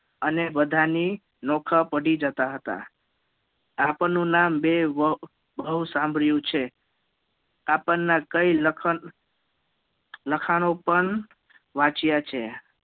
અને બધા ની નોખા પડી જતાં હતા આપનનું નામ બબવ સાંભળ્યું છે આપણના કઈ લખાણ લખાણો પણ બવ વાચ્યા છે